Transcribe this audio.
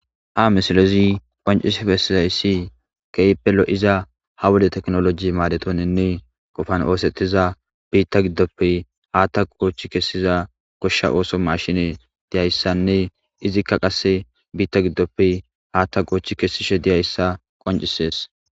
Ha misilezi qonccisi bessizayis keehippe lo7iza ha wode tekinoloogi maadetoninne qofan oossetiza biita giddoppe haata goochi kesiza goshsha ootho maashinne diyayssanne izikka qasse haata biitappe goochi kesishe diyayssa qonccisees.